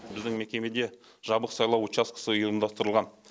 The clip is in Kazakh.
біздің мекемеде жабық сайлау учаскесі ұйымдастырылған